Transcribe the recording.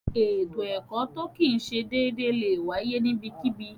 Ètò ẹkọ̀ tó kìí ṣè déédè lẹ wáyé níbẹ̀kíbí.